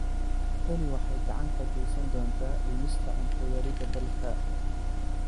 Tani waxay gacan ka geysan doontaa dhimista cunto yarida dalka.